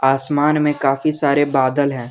आसमान में काफी सारे बादल है।